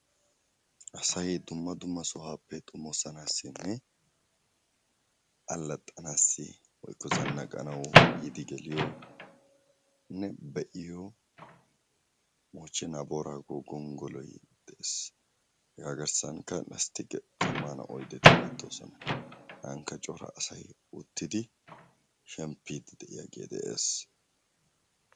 Asay dumma dumma sohuwappe xommosanassi alaxxanaw woykko zannaqqanaw yiidi geliyonne be'iyo moochena boorago gonggoloy de'ees. Hega garssankka lasttike zammana oyddeti beettoosona. Hegankka coea asay uttidi shemppidi de'iyaage de'ees.